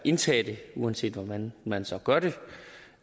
at indtage det uanset hvordan man så gør det og